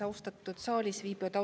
Austatud saalis viibijad!